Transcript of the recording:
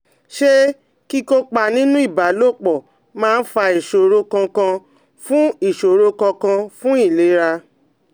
Ṣé kíkópa nínú ìbálòpọ̀ máa fa ìṣòro kankan fún ìṣòro kankan fún ìlera?